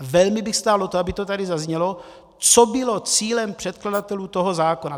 velmi bych stál o to, aby to tady zaznělo, co bylo cílem předkladatelů toho zákona.